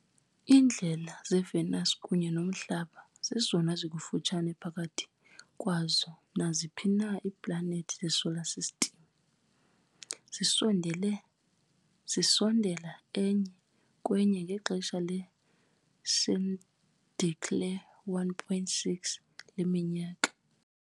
Iindlela zeVenus kunye noMhlaba zezona zikufutshane phakathi kwazo naziphi na iiplanethi zeSolar System, zisondele zisondela enye kwenye ngexesha le-synodic le-1.6 leminyaka.